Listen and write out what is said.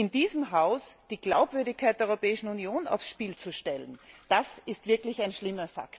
In diesem Haus die Glaubwürdigkeit der Europäischen Union aufs Spiel zu setzen, das ist wirklich schlimm.